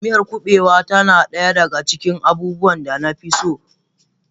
Miyar kubewa tana daya daga cikin abubuwan da na fi so.